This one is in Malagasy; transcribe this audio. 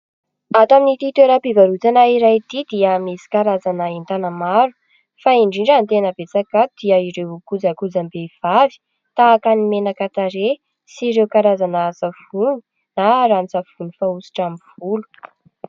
Ato amin'ity toeram-pivarotana iray ity dia misy karazana entana maro ; fa indrindra ny tena betsaka ato dia ireo kojakojam-behivavy, tahaka ny menaka tarehy sy ireo karazana savony na ranon-tsavony fanositra amin'ny volo.